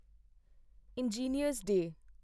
engineer's day